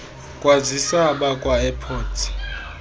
kwazisa abakwa airports